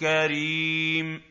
كَرِيمٌ